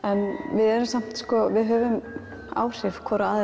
við erum samt við höfum áhrif hvor á aðra